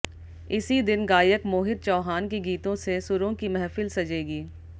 इसी दिन गायक मोहित चौहान के गीतों से सुरों की महफिल सजेगी